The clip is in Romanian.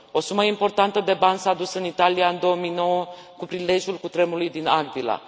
O sumă importantă de bani s a dus în Italia în 2009 cu prilejul cutremului din Aquila.